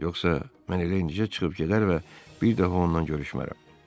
Yoxsa mən elə indicə çıxıb gedər və bir dəfə ondan görüşmərəm.